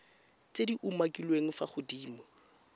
tse di umakiliweng fa godimo